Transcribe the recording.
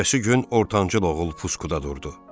Ertəsi gün ortancıl oğul puskuda durdu.